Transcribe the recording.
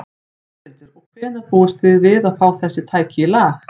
Þórhildur: Og hvenær búist þið við að fá þessi tæki í lag?